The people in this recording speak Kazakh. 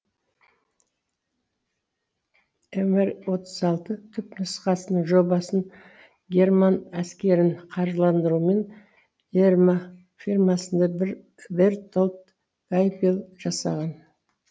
мр түпнұсқасының жобасын герман әскерін қаржыландыруымен ерма фирмасында бертольд гайпель жасаған